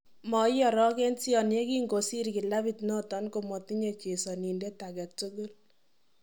Moiorogenision yengikosir kilabit noton komotinye chesonindet agetugul.